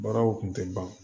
Baaraw kun tɛ ban